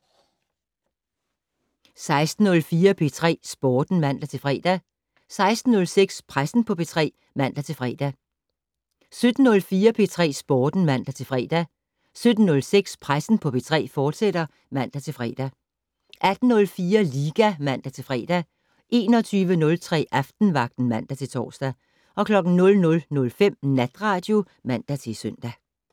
16:04: P3 Sporten (man-fre) 16:06: Pressen på P3 (man-fre) 17:04: P3 Sporten (man-fre) 17:06: Pressen på P3, fortsat (man-fre) 18:04: Liga (man-fre) 21:03: Aftenvagten (man-tor) 00:05: Natradio (man-søn)